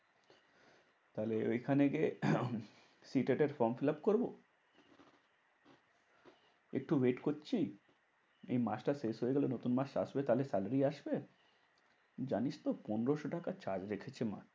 তাহলে ওইখানে গিয়ে free টেট এর form fill up করবো। একটু wait করছি। এই মাসটা শেষ হয়ে গেলে নতুন মাস আসবে তাহলে স্যালারি আসবে। জানিসতো পনেরোশো টাকা charge রেখেছে মাত্র?